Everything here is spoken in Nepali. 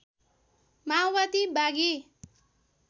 माओवादी बागी